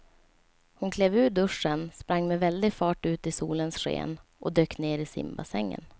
Hon klev ur duschen, sprang med väldig fart ut i solens sken och dök ner i simbassängen.